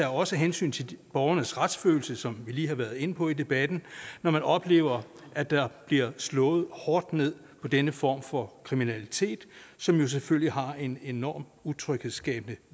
også hensyn til borgernes retsfølelse som vi lige har været inde på i debatten når man oplever at der bliver slået hårdt ned på denne form for kriminalitet som selvfølgelig har en enorm utryghedsskabende